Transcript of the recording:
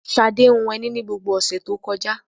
Ṣadé hun ẹní ni gbogbo ọ̀sẹ̀ tó kọjá.